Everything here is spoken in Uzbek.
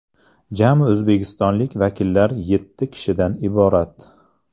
Jami o‘zbekistonlik vakillar yetti kishidan iborat.